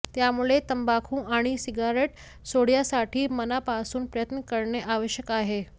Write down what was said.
त्यामुळे तंबाखू आणि सिगारेट सोडण्यासाठी मनापासून प्रयत्न करणे आवश्यक आहे